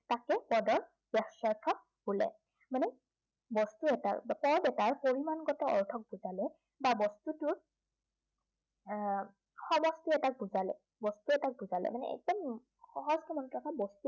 পদৰ বাচ্য়াৰ্থ বোলে। মানে, বস্তু এটাৰ বা পদ এটাৰ পৰিমাণগত অৰ্থক বুজালে, বা বস্তুটোৰ এৰ সমষ্টি এটাক বুজালে, বস্তু এটাক বুজালে, মানে একদম সহজ সৰলকে